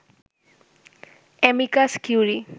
amicus curiae